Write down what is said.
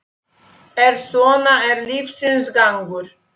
En svona er lífsins gangur.